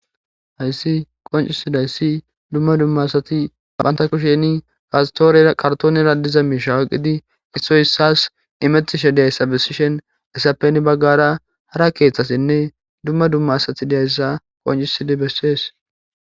Hayssi qonccisizayssi dumma dumma asati bata kushen karttoonera diza miishsha oykidi issi issas imishedizayssa besees.